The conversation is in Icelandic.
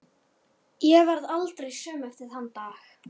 Ég varð aldrei söm eftir þann dag.